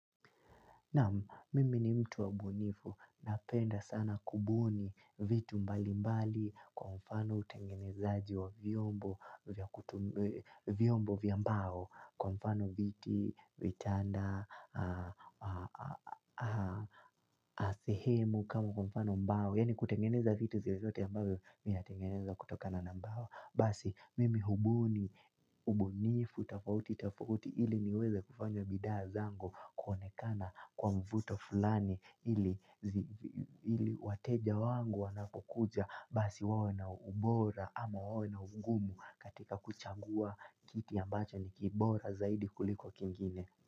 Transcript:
Naam mimi ni mtu wa ubunifu, napenda sana kubuni vitu mbali mbali kwa mfano utengenezaji wa vyombo vya mbao kwa mfano viti, vitanda, na sehemu kama kwa mfano mbao. Yaani kutengeneza vitu zile zote ya mbao vinatengenezwa kutokana na mbao Basi mimi hubuni, ubunifu, tofauti, tofauti ili niweze kufanya bidhaa zangu kuonekana kwa mvuto fulani ili wateja wangu wanapokuja basi wawe na ubora ama wawe na ugumu katika kuchagua kiti ambacho ni kibora zaidi kuliko kingine.